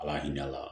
Ala hinɛ ala